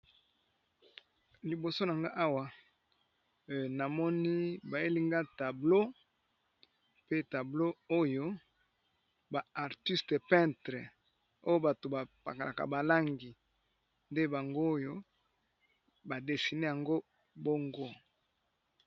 Liboso na nga awa na moni ba yeli nga tableau pe tableau oyo ba artiste peintre oyo bato ba pakolaka ba langi nde bango oyo ba dessiner yango bongo .